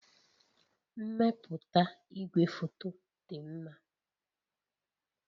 Mmepụta igwefoto dị mma